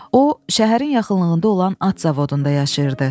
O, şəhərin yaxınlığında olan at zavodunda yaşayırdı.